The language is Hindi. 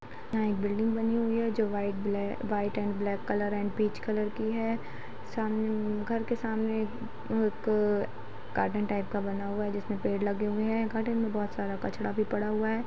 यहाँ एक बिल्डिंग बनी हुई हैं जो white black white and black colour and peach colour की है सामने घर के सामने एक अ गार्डन टाइप का बना हुआ है जिसमे पेड़ लगे हुए है गार्डन में बोहत सारा कचड़ा भी पड़ा हुआ है।